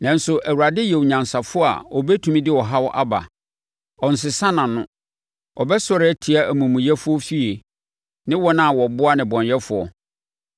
Nanso, Awurade yɛ onyansafoɔ a ɔbɛtumi de ɔhaw aba; ɔnsesa nʼano. Ɔbɛsɔre atia amumuyɛfoɔ efie, ne wɔn a wɔboa nnebɔneyɛfoɔ.